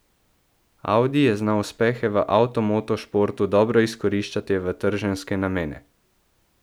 Audi je znal uspehe v avtomoto športu dobro izkoriščati v trženjske namene.